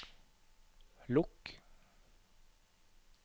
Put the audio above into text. lukk